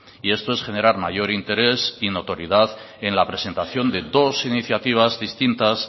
y esto es generar mayor interés y notoriedad en la presentación de dos iniciativas distintas